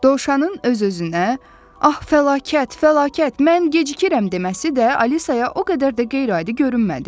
Dovşanın öz-özünə, "Ax, fəlakət, fəlakət, mən gecikirəm" deməsi də Alisaya o qədər də qeyri-adi görünmədi.